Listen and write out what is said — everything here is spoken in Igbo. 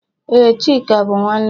Ee, Chika bụ nwanne m